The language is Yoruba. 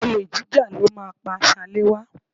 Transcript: Olè jíjà ló máa pá Ṣaléwá